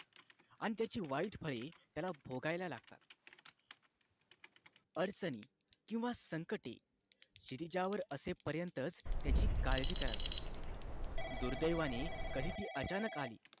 आणि वाईट फळे त्याला भोगावे लागतात अडचणी किंवा संकटे शिरीजावर असेपर्यंतच त्याची काळजी करावी दुर्दैवाने कधी ती अचानक आली